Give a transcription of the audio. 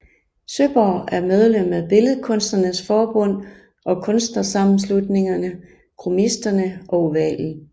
Søeborg er medlem af Billedkunstnernes Forbund og kunstnersammenslutningerne Cromisterne og Ovalen